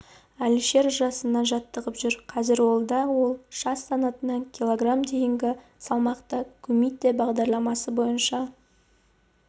әлішер жасынан жаттығып жүр қазір ол да ол жас санатында кг дейінгі салмақта кумитэ бағдарламасы бойынша